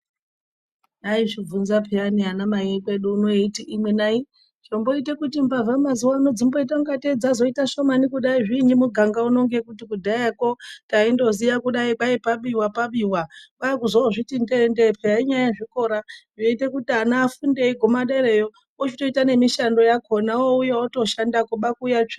Ayizvi bvunza peyani ana mai ekwedu uno eyiti imwi nayi zvomboite kuti mbavha mazuva ano dzimboita kunga tee dzaita shomani kudai zviinyi muganga uno ngekuti kudhayako taindo ziya kudai kwai pabiwa pabiwa kwakuzo zviti nde nde peya inyaya ye zvikora zvinoite kuti ana afunde eiguma derayo ochitoita ne mishando yakona wouya oto shandako.